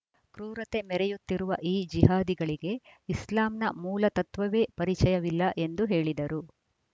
ಕ್ರೂರತೆ ಮೆರೆಯುತ್ತಿರುವ ಈ ಜಿಹಾದಿಗಳಿಗೆ ಇಸ್ಲಾಂನ ಮೂಲ ತತ್ವವೇ ಪರಿಚಯವಿಲ್ಲ ಎಂದು ಹೇಳಿದರು